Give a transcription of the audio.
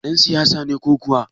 Ɗan siyasa ne ko kuwa?